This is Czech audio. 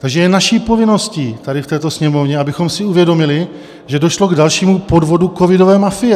Takže je naší povinností tady v této Sněmovně, abychom si uvědomili, že došlo k dalšímu podvodu covidové mafie.